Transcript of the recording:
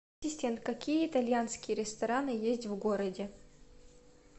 какие итальянские рестораны есть в городе